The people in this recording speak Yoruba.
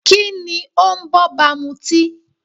Kíni ó ń b'ọ́ba mutí?